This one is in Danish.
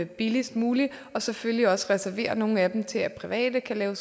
billigst muligt og selvfølgelig også reservere nogle af dem til at private kan